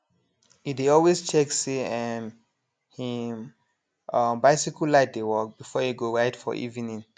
e dey always check say um him um bicycle light dey work before e ride for evening